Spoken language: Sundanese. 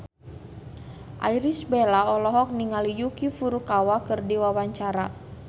Irish Bella olohok ningali Yuki Furukawa keur diwawancara